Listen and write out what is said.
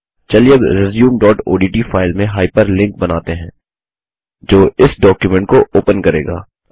चलिए अब resumeओडीटी फाइल में हाइपरलिंक बनाते हैं जो इस डॉक्युमेंट को ओपन करेगा